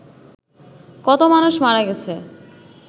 কত মানুষ মারা গেছে